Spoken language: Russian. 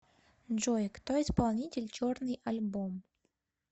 джой кто исполнитель черный альбом